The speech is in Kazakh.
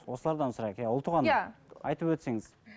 осылардан сұрайық ұлтуған айтып өтсеңіз